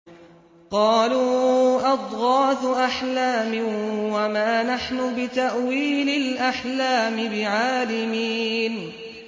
قَالُوا أَضْغَاثُ أَحْلَامٍ ۖ وَمَا نَحْنُ بِتَأْوِيلِ الْأَحْلَامِ بِعَالِمِينَ